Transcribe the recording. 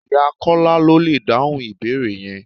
Ìyá Kọ́lá lọ lè dáhùn ìbéèrè yẹn.